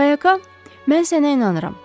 Qayaqa, mən sənə inanıram.